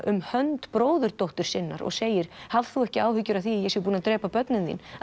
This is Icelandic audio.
um hönd bróðurdóttur sinnar og segir haf þú ekki áhyggjur af því að ég sé búinn að drepa börnin þín